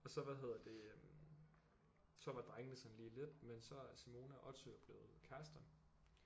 Og så hvad hedder det øh så var drengene sådan lige lidt men så er Simone og Otto jo blevet kærester